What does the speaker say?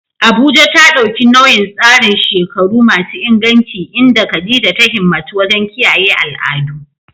Abuja ta ɗauki nauyin tsarin shekaru masu inganci inda Khadija ta himmatu wajen kiyaye al'adu.